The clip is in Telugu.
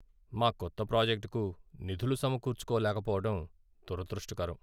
మా కొత్త ప్రాజెక్టుకు నిధులు సమకూర్చుకోలేకపోవడం దురదృష్టకరం.